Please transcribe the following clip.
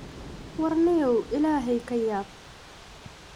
War nio illahey kayab.